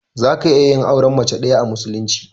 Zaka iya yin auren mace ɗaya a musulunci.